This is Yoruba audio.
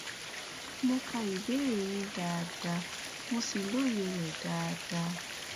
mo ka ìbéèrè yín dáadáa mo sì lóye rẹ dáadáa